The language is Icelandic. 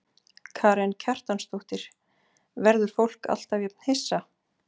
Karen Kjartansdóttir: Verður fólk alltaf jafn hissa?